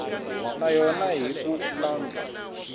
na yona hi ku landza